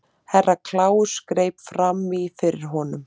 Herra Kláus greip fram í fyrir honum.